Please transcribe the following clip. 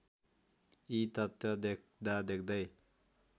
यी तथ्य देख्दादेख्दै